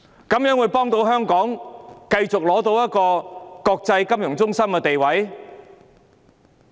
怎能幫助香港繼續保持國際金融中心地位？